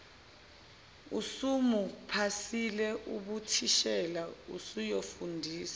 usebuphasile ubuthishela useyofundisa